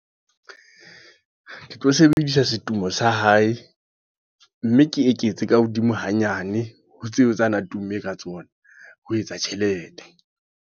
Ke tlo sebedisa setumo sa hae. Mme ke eketse ka hodimo hanyane, ho tseo tsa na tumme ka tsona. Ho etsa tjhelete.